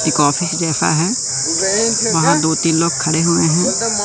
यह काफी जैसा है वहां दो तीन लोग खड़े हुए हैं।